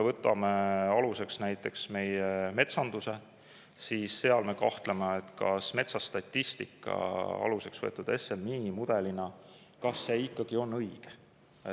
Võtame aluseks näiteks meie metsanduse, seal me kahtleme, kas metsastatistika aluseks võetud SMI mudelina on ikka õige.